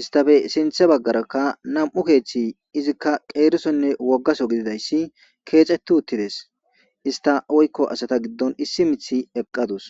istafe sinthe baggarakka nam7u keeththi izikka qeerisonne woggaso gididayssi keecetu uttides ista woykko asata giddon issi mithi eqqadus